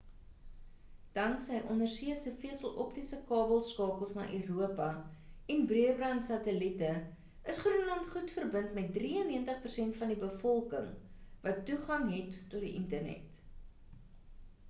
danksy ondersee se veseloptiese kabelskakels na europa en breëband satellite is groenland goed verbind met 93% van die bevolking wat toegang het tot die internet